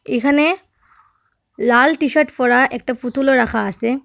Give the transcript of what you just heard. এখানে লাল টিশার্ট পরা একটা পুতুলও রাখা আসে।